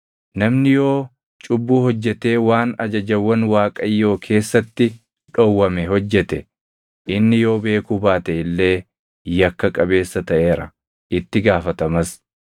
“Namni yoo cubbuu hojjetee waan ajajawwan Waaqayyoo keessatti dhowwame hojjete, inni yoo beekuu baate illee yakka qabeessa taʼeera; itti gaafatamas.